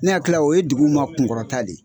Ne hakili la o ye dugu ma kunkɔrɔta de ye